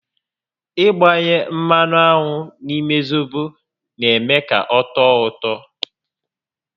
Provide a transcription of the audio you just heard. Ị gbanye mmanụ aṅụ n'ime zobo n'eme ka ọ tọọ ụtọ